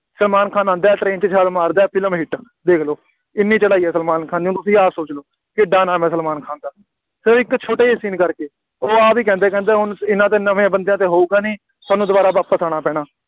ਸਲਮਾਨ ਖਾਨ ਆਉਂਦਾ train 'ਚ ਛਾਲ ਮਾਰਦਾ, ਫਿਲਮ hit ਦੇਖ ਲਓ, ਐਨੀ ਚੜ੍ਹਾਈ ਹੈ ਸਲਮਾਨ ਖਾਨ ਦੀ, ਤੁਸੀਂ ਆਪ ਸੋਚ ਲਓ, ਕਿੱਡਾ ਨਾਮ ਹੈ ਸਲਮਾਨ ਖਾਨ ਦਾ ਅਤੇ ਇੱਕ ਛੋਟੇ ਜਿਹੇ scene ਕਰਕੇ, ਉਹ ਆਹ ਵੀ ਕਹਿੰਦੇ ਆ, ਕਹਿੰਦੇ ਬਈ ਐਨਾ ਤਾਂ ਨਵੇਂ ਬੰਦਿਆਂ ਤੋਂ ਹੋਊਗਾ ਨਹੀਂ, ਤੁਹਾਨੂੰ ਦੁਬਾਰਾ ਵਾਪਸ ਆਉਣਾ ਪੈਣਾ,